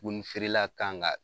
Duguni feerela kan ka